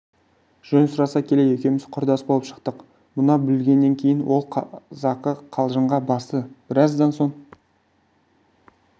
жөн сұраса келе екеуміз құрдас болып шықтық мұны білгеннен кейін ол қазақы қалжыңға басты біраздан соң